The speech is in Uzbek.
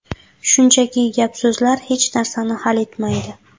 Shunchaki gap-so‘zlar hech narsani hal etmaydi.